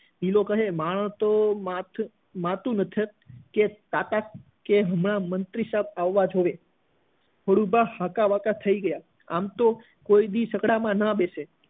ગિલો કહે માણસ તો માતુ નથી કે કાકા કહે હમણાં મંત્રી સાહેબ આવવા જોઈએ ખોડુભા હાકાબાકા થઇ ગયા આમ તો કોઈ દિવસ છકડા માં ન બેસે